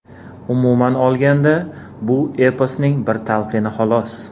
Umuman olganda, bu eposning bir talqini xolos.